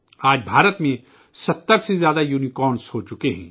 آج بھارت میں 70 سے زائد یونی کارنس ہو چکے ہیں